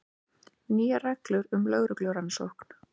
Nýjar reglur um lögreglurannsókn